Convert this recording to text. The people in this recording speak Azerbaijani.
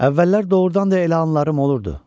Əvvəllər doğurdan da elə anlarım olurdu.